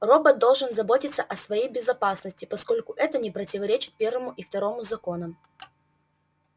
робот должен заботиться о своей безопасности поскольку это не противоречит первому и второму законам